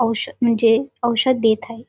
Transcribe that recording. औष म्हणजे औषध देत आहे.